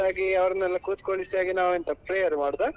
ಹಾಗಾಗಿ ಅವರನ್ನೆಲ್ಲ ಕುತ್ಕೋಳಿಸಿ ನಾವೆಂತ prayer ಮಾಡುದ?